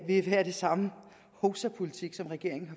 vil være den samme hovsapolitik som regeringen